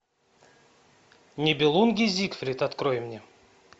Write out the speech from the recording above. нибелунги зигфрид открой мне